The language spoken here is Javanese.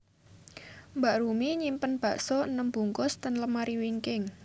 Mbak Rumi nyimpen bakso enem bungkus ten lemari wingking